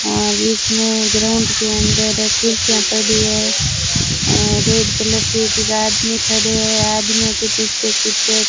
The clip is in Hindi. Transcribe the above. और बीच में ग्राउंड के अंदर ये कुर्सियां पड़ी है रेड कलर की कुछ आदमी खड़े हैं आदमियों के पीछे कुछ --